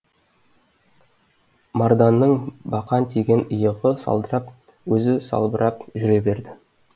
марданның бақан тиген иығы салдырап өзі салбырап жүре берді